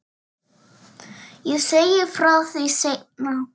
Ég segi frá því seinna.